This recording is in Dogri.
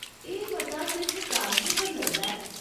एह् मता सिर्फ कागजें पर लगदा ऐ।